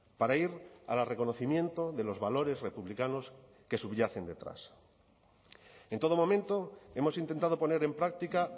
para ir al reconocimiento de los valores republicanos que subyacen detrás en todo momento hemos intentado poner en práctica